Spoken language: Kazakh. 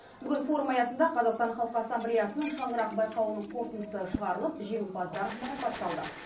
бүгін форум аясында қазақстан халық ассамблеясының шаңырақ байқауының қорытындысы шығарылып жеңімпаздар марапатталды